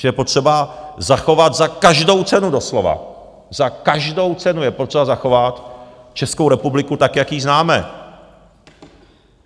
Že je potřeba zachovat za každou cenu doslova, za každou cenu je potřeba zachovat Českou republiku tak, jak jí známe.